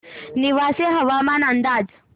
नेवासे हवामान अंदाज